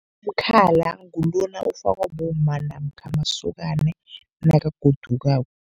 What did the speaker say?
Umkhala ngulona ofakwa bomma namkha masokana nakagodukako.